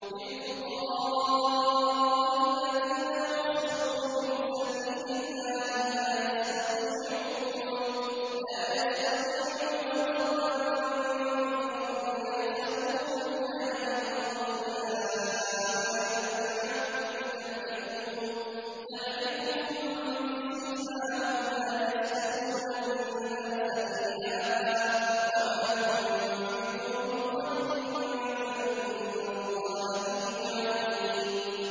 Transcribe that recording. لِلْفُقَرَاءِ الَّذِينَ أُحْصِرُوا فِي سَبِيلِ اللَّهِ لَا يَسْتَطِيعُونَ ضَرْبًا فِي الْأَرْضِ يَحْسَبُهُمُ الْجَاهِلُ أَغْنِيَاءَ مِنَ التَّعَفُّفِ تَعْرِفُهُم بِسِيمَاهُمْ لَا يَسْأَلُونَ النَّاسَ إِلْحَافًا ۗ وَمَا تُنفِقُوا مِنْ خَيْرٍ فَإِنَّ اللَّهَ بِهِ عَلِيمٌ